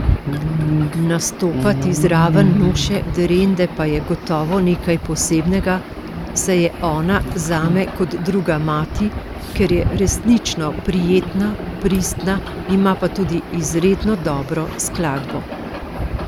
Nastopati zraven Nuše Derende pa je gotovo nekaj posebnega, saj je ona zame kot druga mati, ker je resnično prijetna, pristna, ima pa tudi izredno dobro skladbo.